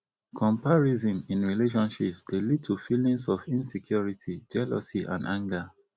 comparison in relationships dey lead to feelings of insecurity jealousy and anger